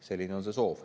Selline on see soov.